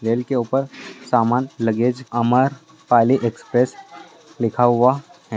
rail के ऊपर सामान लगेज अमर पाली एक्सप्रेस लिखा हुआ है |